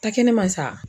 Ta kɛnɛ ma sa